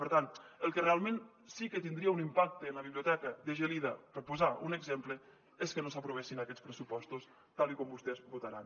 per tant el que realment sí que tindria un impacte en la biblioteca de gelida per posar un exemple és que no s’aprovessin aquests pressupostos tal com vostès votaran